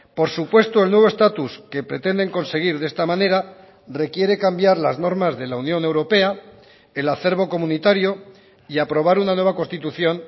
por supuesto el nuevo estatus que pretenden conseguir de esta manera requiere cambiar las normas de la unión europea el acervo comunitario y aprobar una nueva constitución